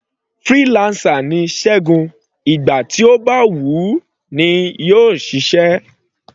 Freelancer ni Ṣẹgun, ìgbà tí ó bá wù u ní yóò ṣiṣẹ́.